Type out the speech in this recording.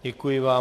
Děkuji vám.